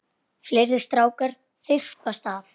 Fleiri strákar þyrpast að.